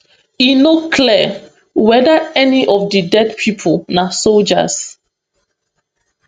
e no clear weda any of di dead pipo na soldiers